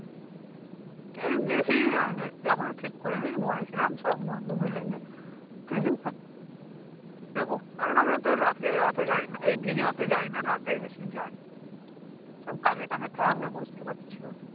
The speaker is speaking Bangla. এই দেখি ডেট টা এখনো ঠিক করি নি বলেছিলাম সব বন্ধু মিলে যে যাবো কারন আমরা তো রাতে অত যাইনা এই দিনে অতে যাইনা রাতেই বেশি যাই সব কাজে কামে থাকে বুঝতেই পারছো